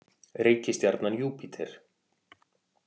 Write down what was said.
Reikistjarnan Júpíter.